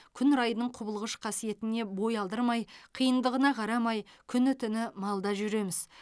күн райының құбылғыш қасиетіне бой алдырмай қиындығына қарамай күні түні малда жүреміз